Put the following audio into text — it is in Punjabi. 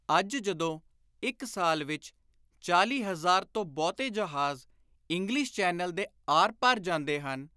ਅੱਜ ਜਦੋਂ ਇਕ ਸਾਲ ਵਿਚ ਚਾਲੀ ਹਜ਼ਾਰ ਤੋਂ ਬਹੁਤੇ ਜਹਾਜ਼ ਇੰਗਲਿਸ਼ ਚੈਨਲ ਦੇ ਆਰ ਪਾਰ ਜਾਂਦੇ ਹਨ,